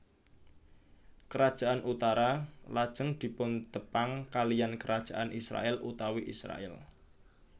Kerajaan utara lajeng dipuntepang kaliyan Kerajaan Israèl utawi Israèl